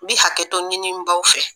N bɛ hakɛtɔ ɲini n baw fɛ.